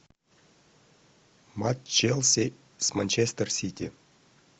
матч челси с манчестер сити